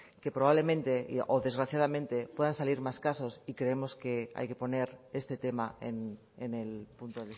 que probablemente o desgraciadamente puedan salir más casos y creemos que hay que poner este tema en el punto